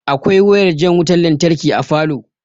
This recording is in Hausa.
Akwai wayar jan wutan lantarki a falow